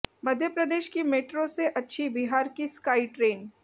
मप्र की मेट्रो से अच्छी बिहार की स्काई ट्रेन